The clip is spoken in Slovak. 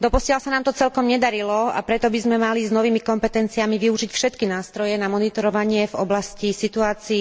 Doposiaľ sa nám to celkom nedarilo, a preto by sme mali s novými kompetenciami využiť všetky nástroje na monitorovanie situácie v oblasti